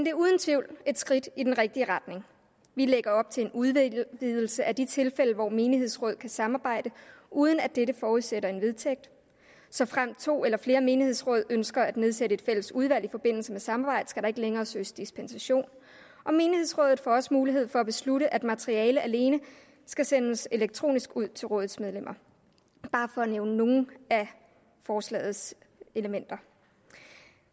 er uden tvivl et skridt i den rigtige retning vi lægger op til en udvidelse af de tilfælde hvor menighedsrådet kan samarbejde uden at dette forudsætter en vedtægt såfremt to eller flere menighedsråd ønsker at nedsætte et fælles udvalg i forbindelse med samarbejde skal der ikke længere søges dispensation og menighedsrådet får også mulighed for at beslutte at materiale alene skal sendes elektronisk ud til rådets medlemmer bare for at nævne nogle af forslagets elementer